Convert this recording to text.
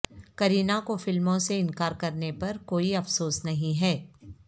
کرینہ کو فلموں سے انکار کرنے پر کوئی افسوس نہیں ہے